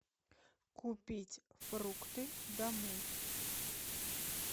купить фрукты домой